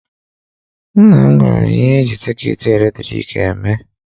Nna m gwara m ihe eji sekyut eletrik eme.